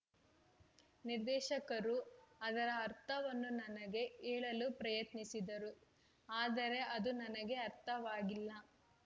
ನಿರ್ದೇಶಕರು ಅದರ ಅರ್ಥವನ್ನು ನನಗೆ ಹೇಳಲು ಪ್ರಯತ್ನಿಸಿದರು ಆದರೆ ಅದು ನನಗೆ ಅರ್ಥವಾಗಿಲ್ಲ